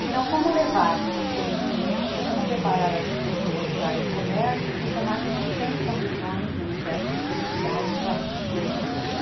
Então, como levar o conhecimento, como preparar essas pessoas para a área de comércio, se o se na que não tem condições, nem o ses que, de ter unidade em cada grande centro?